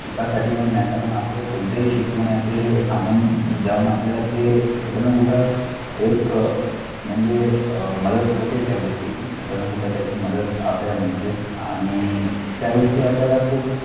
शिकासाठी म्हणून नाही कारण आपण कोणतेही शिकलो नाही ते सामान्य राहून आपल्याला ते कुठं ना कुठं एक अं म्हणजे अं मदत होते त्यागोष्टीची कुठे ना कुठे त्याची मदत आपल्याला मिळते आणि त्यागोष्टी आपल्याला खूप